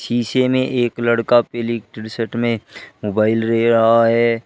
शीशे में एक लड़का पीली टी शर्ट में मोबाइल ले रहा है।